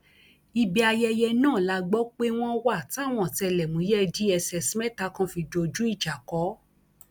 ibi ayẹyẹ náà la gbọ pé wọn wà táwọn ọtẹlẹmúyẹ dss mẹta kan fi dojú ìjà kọ ọ